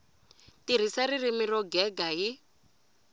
tirhisa ririmi ro gega hi